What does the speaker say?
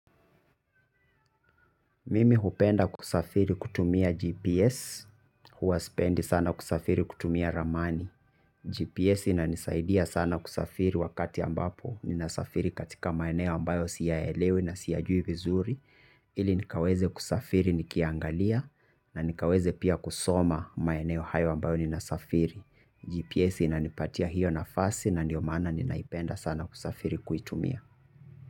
Mimi hupenda kusafiri kutumia GPS, huwa sipendi sana kusafiri kutumia ramani. GPS ina nisaidia sana kusafiri wakati ambapo ninasafiri katika maeneo ambayo siya elewi na siyajui vizuri. Ili nikaweze kusafiri nikiangalia na nikaweze pia kusoma maeneo hayo ambayo ninasafiri. GPS ina nipatia hiyo nafasi na ndio maana nina ipenda sana kusafiri kuitumia.